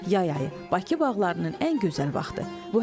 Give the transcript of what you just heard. Yay ayı Bakı bağlarının ən gözəl vaxtı.